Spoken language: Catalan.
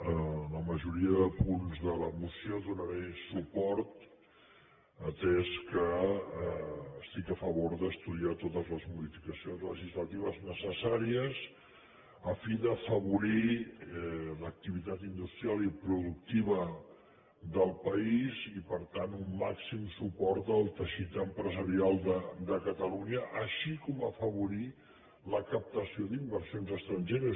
a la majoria de punts de la moció donaré suport atès que estic a favor d’estudiar totes les modificacions legislatives necessàries a fi d’afavo·rir l’activitat industrial i productiva del país i per tant un màxim suport al teixit empresarial de catalunya així com afavorir la captació d’inversions estrangeres